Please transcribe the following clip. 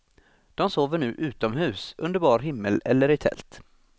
De sover nu utomhus, under bar himmel eller i tält.